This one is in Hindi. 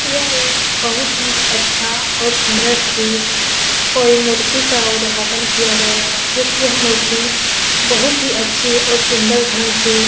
यह एक बहुत ही अच्छा और सुंदर से कोई मूर्ति का उद्घाटन किया गिया है जो कि यह मूर्ति बहुत ही अच्छे और सुंदर ढ़ंग से --